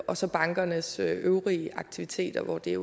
og så bankernes øvrige aktiviteter hvor det